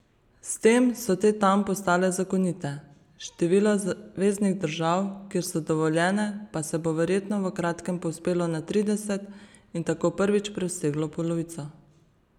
S tem so te tam postale zakonite, število zveznih držav, kjer so dovoljene, pa se bo verjetno v kratkem povzpelo na trideset in tako prvič preseglo polovico.